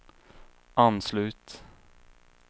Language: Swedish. anslut